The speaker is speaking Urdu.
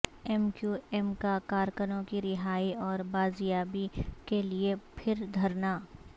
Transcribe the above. ایم کیو ایم کا کارکنوں کی رہائی اور بازیابی کے لیے پھر دھرنا